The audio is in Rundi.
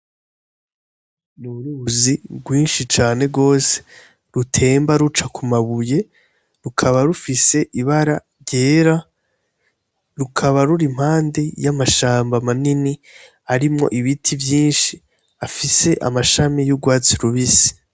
N'uruzi rwinshi cane gose rutemba ruca ku mabuye, rukaba rufise ibara ryera, rukaba ruri impande y'amashamba manini arimwo ibiti vyinshi afise amashami y'urwatsi rubisi.